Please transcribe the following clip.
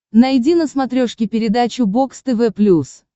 найди на смотрешке передачу бокс тв плюс